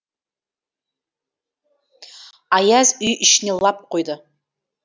аяз үй ішіне лап қойды